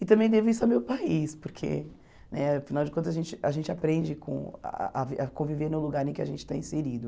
E também devo isso ao meu país, porque, né afinal de contas, a gente a gente aprende com ah a conviver no lugar em que a gente está inserido.